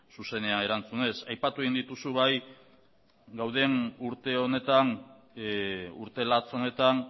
zuzenean erantzunez aipatu egin dituzu bai dauden urte honetan urte latz honetan